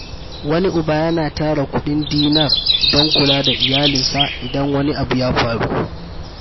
Wani uba yana tara kudin Dinar don kula da iyalinsa idan wani abu ya faru.